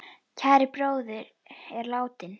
Kær bróðir er látinn.